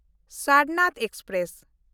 Sarnath express